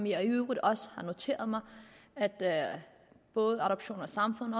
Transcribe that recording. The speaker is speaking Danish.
jeg i øvrigt også har noteret mig at både adoption og samfund